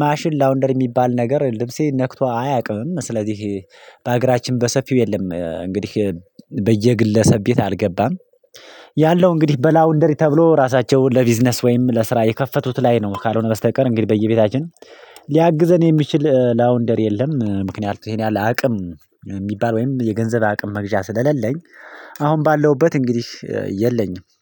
ማሽን ላውንደሪ የሚባል ነገር ልብሴ ነክቶ አያውቅም። ስለዚህ በአገራችን በሰፊው የለም። እንግዲህ በየግለሰብ ቤት አልገባም። ያለው እንግዲህ በላውንደሪ ተብሎ ራሳቸውን ለቢዝነስ ወይም ለስራ የከፈቱት ላይ ነው ካልሆነ በስተቀር እንግዲህ በየቤታችን ሊያግዘን የሚችል ላውንደሪ የለም። ምክንያቱም ይሄን ያህል አቅም የሚባል ወይም የገንዘብ አቅም መግዣ ስለሌለኝ አሁን ባለሁበት እንግዲህ የለኝም